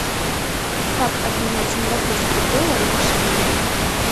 как обменять сингапурские доллары на шиллинги